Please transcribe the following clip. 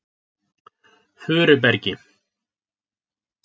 Furubergi